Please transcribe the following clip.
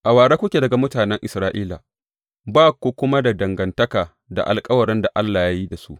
A ware kuke daga mutanen Isra’ila, ba ku kuma da dangantaka da alkawaran da Allah ya yi da su.